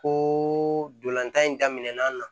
Ko ntolan tan in daminɛna